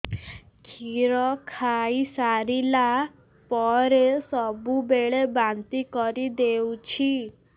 କ୍ଷୀର ଖାଇସାରିଲା ପରେ ସବୁବେଳେ ବାନ୍ତି କରିଦେଉଛି